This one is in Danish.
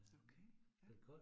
Okay ja